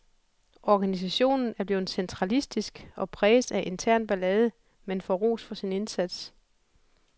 Organisationen er blevet centralistisk og præges af intern ballade, men får ros for sin indsats.